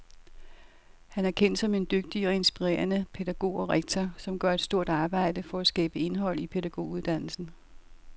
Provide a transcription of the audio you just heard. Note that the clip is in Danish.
Han er kendt som en dygtig og inspirerende pædagog og rektor, som gør et stort arbejde for at skabe indhold i pædagoguddannelsen.